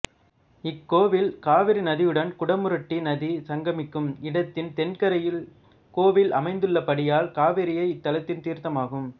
இக்கோவில் காவிரி நதியுடன் குடமுருட்டி நதி சங்கமிக்கும் இடத்தின் தென்கரையில் கோவில் அமைந்துள்ளபடியால் காவிரியே இத்தலத்தின் தீர்த்தமாகும்